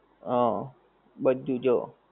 હં બધુ જો,